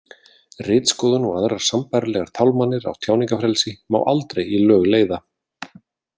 Ritskoðun og aðrar sambærilegar tálmanir á tjáningarfrelsi má aldrei í lög leiða.